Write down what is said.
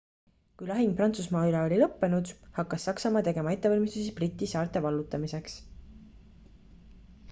kui lahing prantsusmaa üle oli lõppenud hakkas saksamaa tegema ettevalmistusi briti saarte vallutamiseks